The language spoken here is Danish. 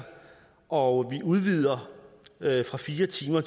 og udvider fra fire timer